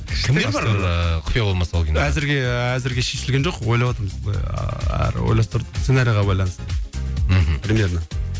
кімдер бар ыыы құпия болмаса ол кинода әзірге әзірге шешілген жоқ ойлап отырмыз ааа ойластырып сценариге байланысты мхм примерно